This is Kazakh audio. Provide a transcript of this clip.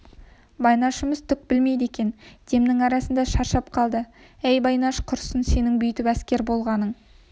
байнашымыз түк білмейді екен демнің арасында шаршап қалды әй байнаш құрысын сенің бүйтіп әскер болғаның